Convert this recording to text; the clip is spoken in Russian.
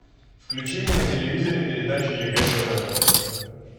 включи мне на телевизоре передачу егэ тв